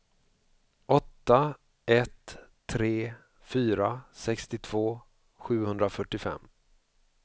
åtta ett tre fyra sextiotvå sjuhundrafyrtiofem